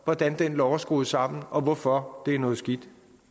hvordan den lov er skruet sammen og hvorfor det er noget skidt